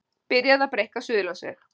Byrjað að breikka Suðurlandsveg